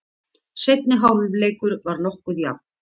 Seinni hálfleikur var nokkuð jafn.